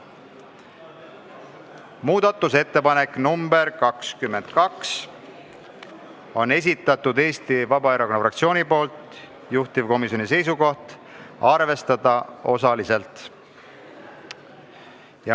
Muudatusettepanek nr 22 Eesti Vabaerakonna fraktsioonilt, juhtivkomisjoni seisukoht: arvestada osaliselt.